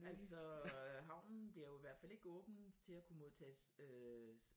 Altså havnen bliver jo i hvert fald ikke åben til at kunne modtage øh